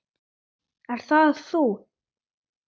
Ert það þú?